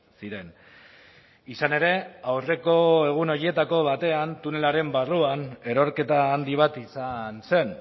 ziren izan ere aurreko egun horietako batean tunelaren barruan erorketa handi bat izan zen